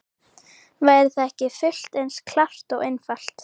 Væri það ekki fullt eins klárt og einfalt?